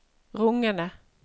rungende